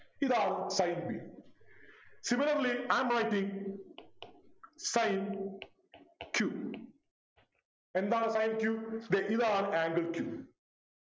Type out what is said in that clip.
ഇതാണ് Sin b Similarly I am writing sin q എന്താണ് sin q ദേ ഇതാണ് angle q